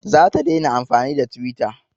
Za ta daina amfani da twitter